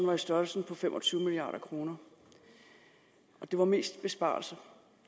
var i størrelsen fem og tyve milliard kr og det var mest besparelser